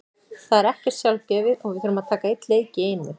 Það er ekkert sjálfgefið og við þurfum að taka einn leik í einu.